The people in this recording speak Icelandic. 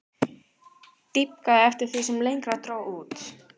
Dýpkaði eftir því sem lengra dró út.